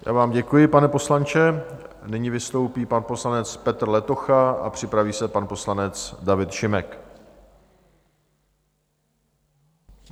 Já vám děkuji, pane poslanče, nyní vystoupí pan poslanec Petr Letocha a připraví se pan poslanec David Šimek.